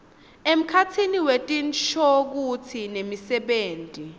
emkhatsini wetinshokutsi nemisebenti